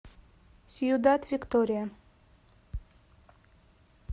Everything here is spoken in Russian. сьюдад виктория